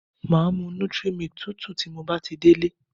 Màá mu 'nutri milk' tútù tí mo bá ti délé